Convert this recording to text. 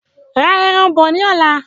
Ra ẹran bọ ní ọ̀la